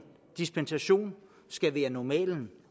dispensation skal være normalen